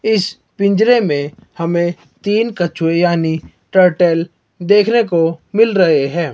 इस पिंजरे मे हमे तीन कछुए यानी टर्टल देखने को मिल रहे है।